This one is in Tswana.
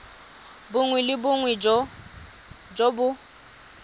bongwe le bongwe jo bo